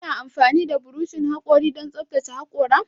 Kuna amfani da burushin hakori don tsaftace hakora?